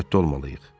Diqqətli olmalıyıq.